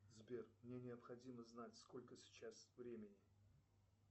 сбер мне необходимо знать сколько сейчас времени